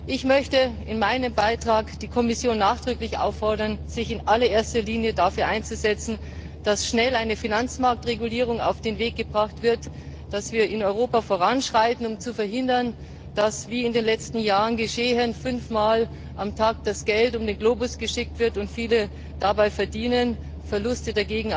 Ich möchte die Kommission nachdrücklich auffordern, sich in allererster Linie dafür einzusetzen, dass schnell eine Finanzmarktregulierung auf den Weg gebracht wird, dass wir in Europa voranschreiten, um zu verhindern, dass wie in den letzten Jahren geschehen fünf Mal am Tag das Geld um den Globus geschickt wird und viele daran verdienen, Verluste